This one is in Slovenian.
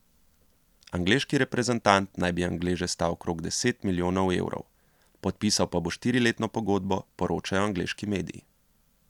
Angleški reprezentant naj bi Angleže stal okrog deset milijonov evrov, podpisal pa bo štiriletno pogodbo, poročajo angleški mediji.